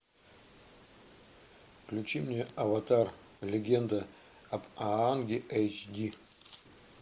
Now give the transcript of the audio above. включи мне аватар легенда об аанге эйч ди